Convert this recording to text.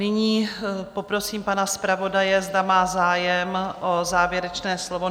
Nyní poprosím pana zpravodaje, zda má zájem o závěrečné slovo?